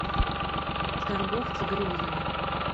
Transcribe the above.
торговцы грезами